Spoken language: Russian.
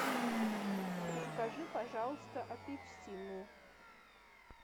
закажи пожалуйста апельсины